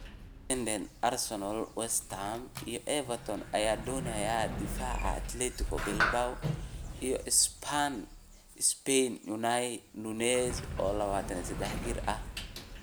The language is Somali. (Independent) Arsenal, West Ham iyo Everton ayaa doonaya daafaca Athletic Bilbao iyo Spain Unai Nunez, oo 23 jir ah.